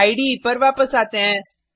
इडे पर वापस आते हैं